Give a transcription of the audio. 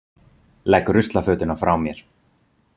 Legg ruslafötuna frá mér.